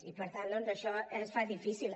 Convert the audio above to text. i per tant doncs això es fa difícil